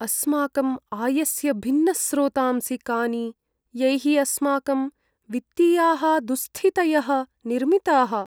अस्माकं आयस्य भिन्नस्रोतांसि कानि, यैः अस्माकं वित्तीयाः दुस्स्थितयः निर्मिताः?